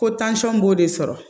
Ko b'o de sɔrɔ